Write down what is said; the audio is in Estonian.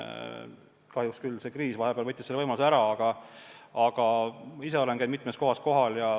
Kahjuks see kriis võttis vahepeal selle võimaluse ära, aga ise olen käinud mitmes kohas kohal.